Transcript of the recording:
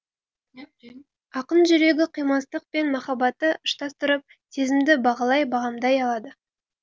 ақын жүрегі қимастық пен махаббатты ұштастырып сезімді бағалай бағамдай алады